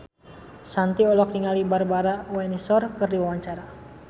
Shanti olohok ningali Barbara Windsor keur diwawancara